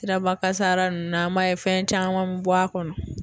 Siraba kasara ninnu an b'a ye fɛn caman be bɔ a kɔnɔ